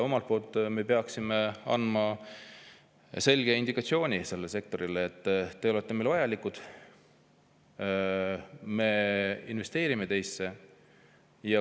Omalt poolt me peaksime andma selle sektori selge indikatsiooni, et te olete meile vajalikud, me investeerime teisse.